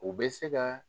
U bɛ se ka